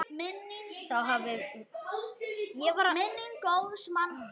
Þá hafi verið lokað.